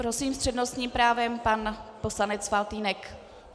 Prosím, s přednostním právem pan poslanec Faltýnek.